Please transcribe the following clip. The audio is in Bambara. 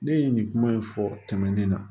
Ne ye nin kuma in fɔ tɛmɛnen na